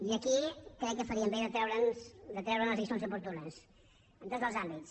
i aquí crec que faríem bé de treure’n les lliçons oportunes en tots els àmbits